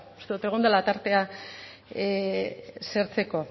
uste dugu egon dela tartea zertzeko